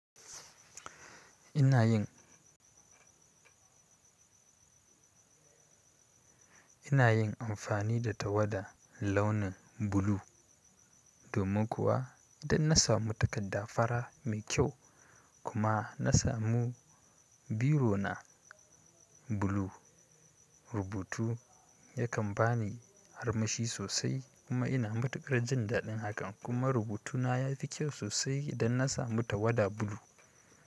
Ina yin, ina yin amfani da tawada launin blue. Domin kuwa idan na samu takardar fara nai ƙyau kuma na samu biro na blue. Rubutu yakan bani haramashi sosai kuma ina matukar jin daɗin hakan. Kuma rubutuna yafi ƙyau sosai idan na samu tawada blue.